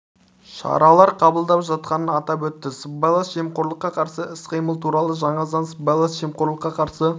шаралар қабылдап жатқанын атап өтті сыбайлас жемқорлыққа қарсы іс-қимыл туралы жаңа заң сыбайлас жемқорлыққа қарсы